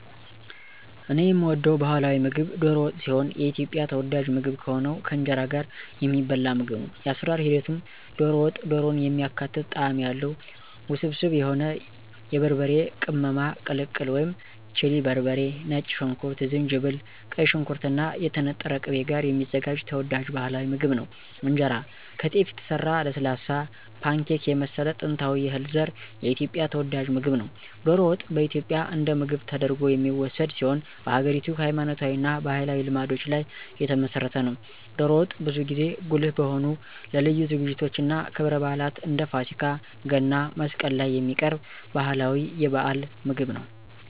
እኔ የምወደው ባህላዊ ምግብ ዶሮ ወጥ ሲሆን የኢትዮጵያ ተወዳጅ ምግብ ከሆነው ከእንጀራ ጋር የሚበላ ምግብ ነው። የአሰራር ሂደቱም - ዶሮ ወጥ - ዶሮን የሚያካትት ጣዕም ያለው፣ ውስብስብ የሆነ የበርበሬ ቅመማ ቅልቅል (ቺሊ በርበሬ፣ ነጭ ሽንኩርት፣ ዝንጅብል)፣ ቀይ ሽንኩርት እና የተነጠረ ቅቤ ጋር የሚዘጋጅ ተወዳጅ ባህላዊ ምግብ ነው። እንጀራ - ከጤፍ የተሰራ ለስላሳ፣ ፓንኬክ የመሰለ ጥንታዊ የእህል ዘር የኢትዮጵያ ተወዳጅ ምግብ ነው። ዶሮ ወጥ በኢትዮጵያ እንደ ምግብ ተደርጎ የሚወሰድ ሲሆን በሀገሪቱ ሃይማኖታዊ እና ባህላዊ ልማዶች ላይ የተመሰረተ ነው። ዶሮ ወጥ ብዙ ጊዜ ጉልህ በሆኑ ለልዩ ዝግጅቶች እና ክብረ በዓላት እንደ ፋሲካ፣ ገና፣ መስቀል ላይ የሚቀርብ ባህላዊ የበዓል ምግብ ነው።